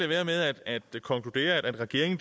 være med at konkludere at regeringen